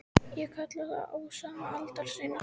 Ég kalla það: Um ósóma aldar sinnar